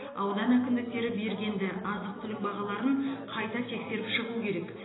аудан әкімдіктері бергенді азық түлік бағаларын қайта тексеріп шығу керек